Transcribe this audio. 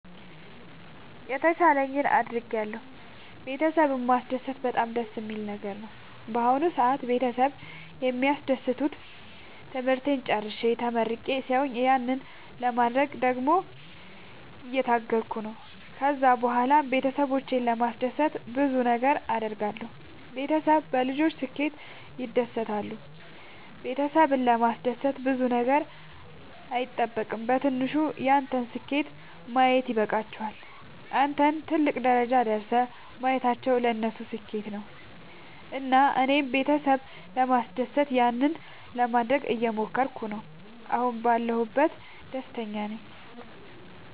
የተቻለኝን አደርጋለሁ ቤተሰብን ማስደሰት በጣም ደስ የሚል ነገር ነው። በአሁን ሰአት ቤተሰብ የሚደሰቱት ትምህርቴን ጨርሼ ተመርቄ ሲያዩኝ ያንን ለማድረግ ደግሞ እየታገልኩ ነው። ከዛ ብኋላም ቤተሰብን ለማስደሰት ብዙ ነገር አድርጋለሁ። ቤተሰብ በልጆች ስኬት ይደሰታሉ ቤተሰብን ለማስደሰት ብዙ ነገር አይጠበቅም በትንሹ ያንተን ስኬት ማየት ይበቃቸዋል። አንተን ትልቅ ደረጃ ደርሰህ ማየታቸው ለነሱ ስኬት ነው። እና እኔም ቤተሰብ ለማስደሰት ያንን ለማደረግ እየሞከርኩ ነው አሁን ባለሁበት ደስተኛ ናቸው።